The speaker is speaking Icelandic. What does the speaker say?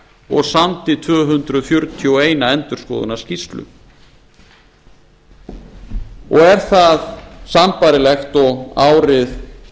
og samdi tvö hundruð fjörutíu og eitt endurskoðunarskýrslu er það sambærilegt og árið